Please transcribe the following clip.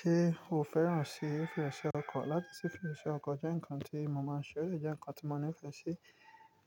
Ṣé o fẹ́ràn sí fífi ọṣẹ ọkọ̀? Láti sí fífi ọṣẹ ọkọ̀ jẹ́ nǹkan tí mo mọ̀, ṣe ó lè jẹ́ nǹkan tí mo ní ìfẹ́ sí.